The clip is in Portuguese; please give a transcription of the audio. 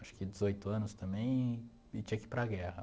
acho que dezoito anos também, e tinha que ir para a guerra.